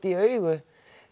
í augu